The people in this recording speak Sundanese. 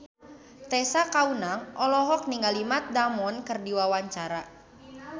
Tessa Kaunang olohok ningali Matt Damon keur diwawancara